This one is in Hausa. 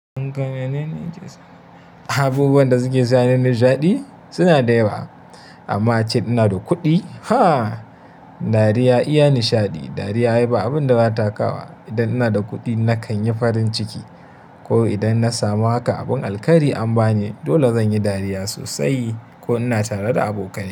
Abubuwan da suke sani nishaɗi? Suna da yawa. Amma ace inada kuɗi, ha! Dariya iya nishaɗi. Dariya ai ba abin data kawowa. Idan inada kuɗi na kanyi farin ciki kawai idan na samu haka abun alkairi an bani dole zanyi dariya sosai ko ina tare da abokane.